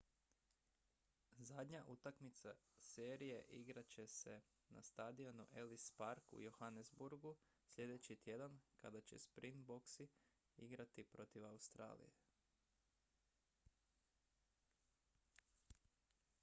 zadnja utakmica serije igrat će se na stadionu ellis park u johannesburgu sljedeći tjedan kada će springboks igrati protiv australije